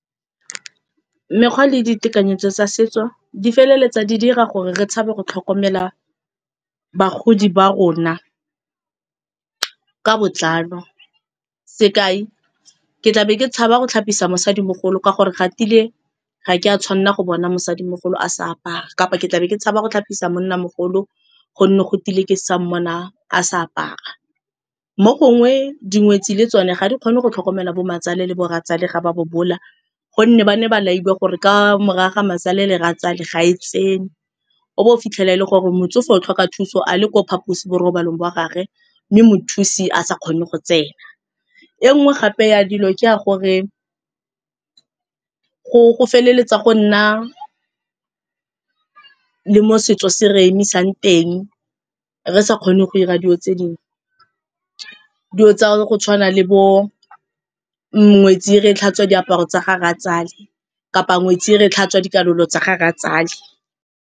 Mekgwa le ditekanyetso tsa setso di feleletsa di dira gore re tshabe go tlhokomela bagodi ba rona ka botlalo. Sekai, ke tlabe ke tshaba go tlhapisa mosadimogolo ka gore ga tile ga ke a tshwanna go bona mosadimogolo a sa apara kapa ke tlabe ke tshaba go tlhapisa monnamogolo gonne go tile ke sa mmona a sa apara. Mo gongwe dingwetsi le tsone ga di kgone go tlhokomela bo mmatswale le bo rratswale ga ba bobola gonne ba ne ba lailwe gore kamore ya ga mmatswale le rratswale ga e tsenwe, o bo o fitlhela e le gore motsofe o tlhoka thuso a le ko phaposiborobalong ba gagwe mme mothusi a sa kgone go tsena. E nngwe gape ya dilo ke ya gore go feleletsa go nna le mo setso se re emisang teng re sa kgone go 'ira di'o tse dingwe, di'o tsa go tshwana le bo ngwetsi e re e tlhatswa diaparo tsa ga rratswale kapa ngwetsi e re e tlhatswa dikalolo tsa ga rratswale.